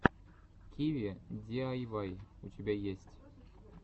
киви диайвай у тебя есть